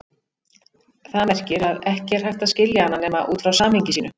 Það merkir að ekki er hægt að skilja hana nema út frá samhengi sínu.